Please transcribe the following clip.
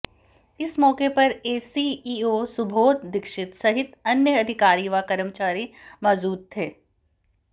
इस मौके पर एसीईओ सुबोध दीक्षित सहित अन्य अधिकारी व कर्मचारी मौजूद थे